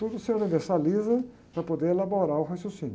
Tudo se universaliza para poder elaborar o raciocínio.